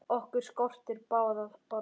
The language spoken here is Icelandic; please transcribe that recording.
Okkur skortir báða orð.